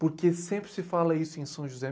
Porque sempre se fala isso em São José.